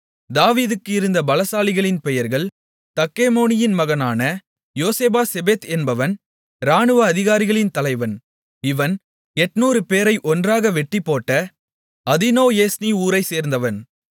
தாவீதுக்கு இருந்த பலசாலிகளின் பெயர்கள் தக்கெமோனியின் மகனான யோசேப்பாசெபெத் என்பவன் இராணுவ அதிகாரிகளின் தலைவன் இவன் 800 பேரை ஒன்றாக வெட்டிப்போட்ட அதீனோஏஸ்னி ஊரைச்சேர்த்தவன்